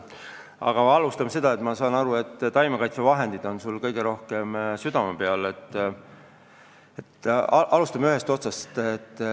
Aga ma alustan taimekaitsevahenditest, mis on sul vist kõige rohkem südame peal.